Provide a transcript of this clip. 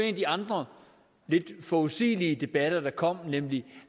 af de andre lidt forudsigelige debatter der kom nemlig